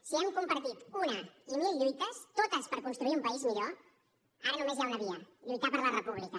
si hem compartit una i mil lluites totes per construir un país millor ara només hi ha una via lluitar per la república